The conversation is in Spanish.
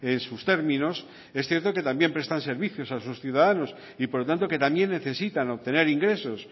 en sus términos es cierto que también prestan servicios a sus ciudadanos y por lo tanto que también necesitan obtener ingresos